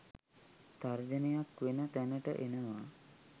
තර්ජනයක් වෙන තැනට එනවා..